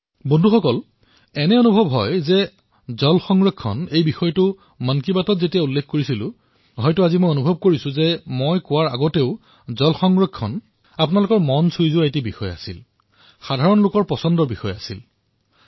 বন্ধুসকল মই মন কী বাতত জল সংৰক্ষণৰ বিষয়টো উত্থাপন কৰিছিলো আৰু আজি মই অনুভৱ কৰিছো যে এই বিষয়টো উত্থাপন কৰাৰ পূৰ্বেই ই আপোনালোকৰ বাবে অতিশয় স্পৰ্শকাতৰ বিষয় আছিল তাৰোপৰি ই বিশ্বজনীন মানৱীয়তাৰো এটা বিষয়